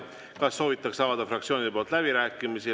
Kas soovitakse avada fraktsioonide poolt läbirääkimisi?